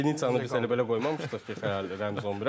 Lepiniçanı biz hələ belə qoymamışıq da Xəyal Rəmiz 11-ə.